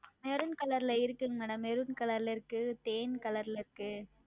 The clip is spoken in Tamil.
Maroon Color ல இருக்கு MadamMaroon Color ல இருக்கு தேன் Color ல் இருக்கு